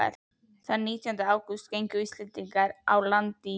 Þann nítjánda ágúst gengu Íslendingarnir á land í